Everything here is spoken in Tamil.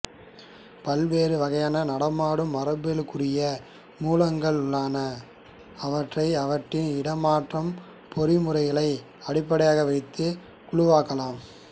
பல்வேறு வகை நடமாடும் மரபியலுக்குரிய மூலகங்கள் உள்ளன அவற்றை அவற்றின் இடமாற்ற பொறிமுறையை அடிப்படையாக வைத்துக் குழுவாக்கலாம்